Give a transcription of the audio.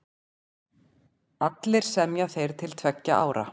Allir semja þeir til tveggja ára.